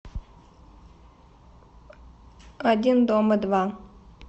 один дома два